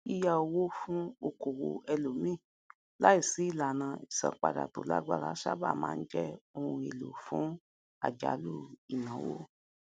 yíyá owó fún okòwò ẹlòmíì láìsí ìlànà ìsanpadà tó lágbára sábà ma n jẹ ohun èlò fún àjálù ináwó